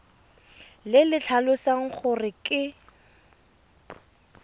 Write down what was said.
le le tlhalosang gore ke